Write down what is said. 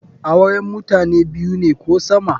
Auren mutane biyu ne ko sama.